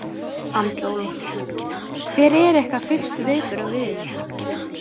Andri Ólafsson: Hver eru ykkar fyrstu viðbrögð við þessu?